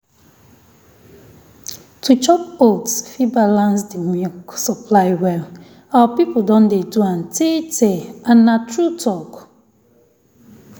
to chop oats fit balance the milk supply well. our people don dey do am tey-tey and na true talk.